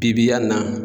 Bibi yan na